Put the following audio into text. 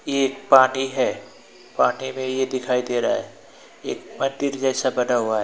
ये एक पार्टी है पार्टी में यह दिखाई दे रहा है एक मंदिर जैसा बना हुआ है।